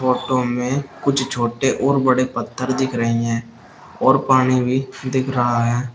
Photo में कुछ छोटे और बड़े पत्थर दिख रही हैं और पानी भी दिख रहा है।